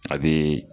A bɛ